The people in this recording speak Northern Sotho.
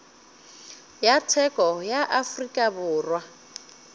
ya tsheko ya afrika borwa